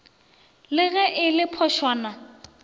le ge e le phošwana